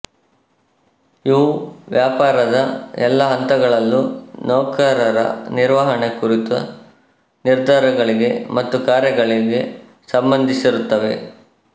ಇವು ವ್ಯಾಪಾರದ ಎಲ್ಲಾ ಹಂತಗಳಲ್ಲೂ ನೌಕರರ ನಿರ್ವಹಣೆ ಕುರಿತ ನಿರ್ಧಾರಗಳಿಗೆ ಮತ್ತು ಕಾರ್ಯಗಳಿಗೆ ಸಂಬಂಧಿಸಿರುತ್ತವೆ